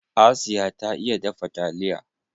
Asiya ta iya dafa taliya.